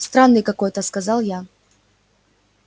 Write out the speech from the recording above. странный какой-то сказал я